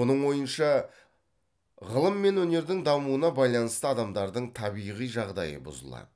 оның ойынша ғылым мен өнердің дамуына байланысты адамдардың табиғи жағдайы бұзылады